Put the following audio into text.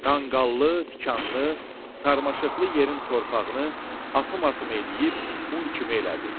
Qanqallı, tikanlı, sarmaşıqlı yerin torpağını atım-atım eləyib un kimi elədi.